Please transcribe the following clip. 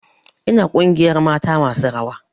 Ina a ƙungiyar mata masu rawa